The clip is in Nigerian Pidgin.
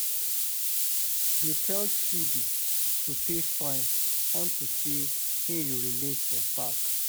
Dey tell Chidi to pay fine unto say he urinate for park